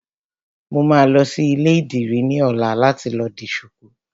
Mo máa lọ sí ilé ìdìrí ní ọ̀la láti lọ di ṣuku